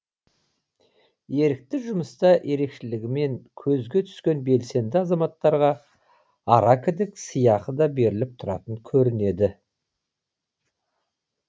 ерікті жұмыста ерекшелігімен көзге түскен белсенді азаматтарға аракідік сыйақы да беріліп тұратын көрінеді